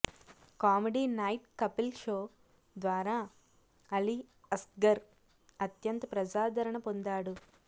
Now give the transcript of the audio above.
comedy night Kapil show ద్వారా అలీ అస్గర్ అత్యంత ప్రజాదరణ పొందాడు